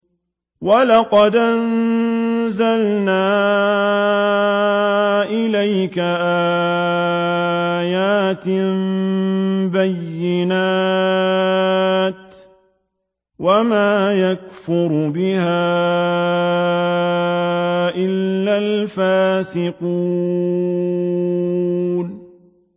وَلَقَدْ أَنزَلْنَا إِلَيْكَ آيَاتٍ بَيِّنَاتٍ ۖ وَمَا يَكْفُرُ بِهَا إِلَّا الْفَاسِقُونَ